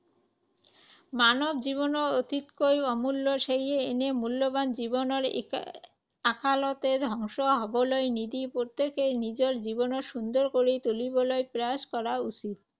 মানৱ জীৱন অতিতকৈ অমূল্য। সেয়ে এনে মূল্যৱান জীৱনৰ এৰ অকালতে ধ্বংস হ’বলৈ নিদি প্ৰত্যেকেই নিজৰ জীৱনক সুন্দৰ কৰি তুলিবলৈ প্ৰয়াস কৰা উচিত।